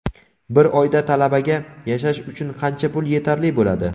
Bir oyda talabaga yashash uchun qancha pul yetarli bo‘ladi?.